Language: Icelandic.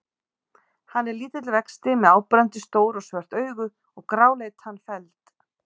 Hann er lítill vexti með áberandi stór og svört augu og gráleitan feld.